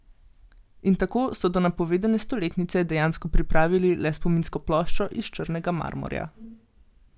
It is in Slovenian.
In tako so do napovedane stoletnice dejansko pripravili le spominsko ploščo iz črnega marmorja.